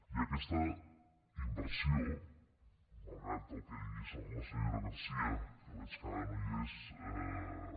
i aquesta inversió malgrat el que digui la senyora garcía que veig que ara no hi és